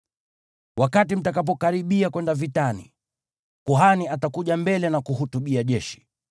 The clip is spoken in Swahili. Wakati mtakapokaribia kwenda vitani, kuhani atakuja mbele na kuhutubia jeshi.